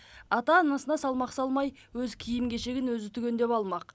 ата анасына салмақ салмай өз киім кешегін өзі түгендеп алмақ